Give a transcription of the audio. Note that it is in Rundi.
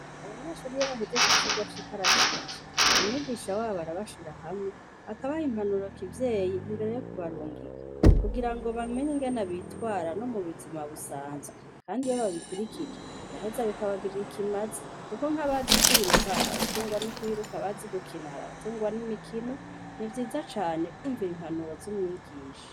Abanyeshure iyo bahejeje icigwa c'ikarashishi, Umwigisha arabashirahamwe akabaha impanuro kivyeyi imbere yokubarungika kugira bamenye ingene bitwara nomubuzima bisanzwe .kandi iyo babikurikije biraheza bikabagora ikimazi kuko nkabazi kwiruka hari abatungwa nukwiruka abazi gukina bagatungwa nukwiruka. Nivyiza cane kwumvira impanuro z'umwigisha.